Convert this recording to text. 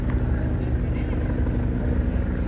Gəlin bizə.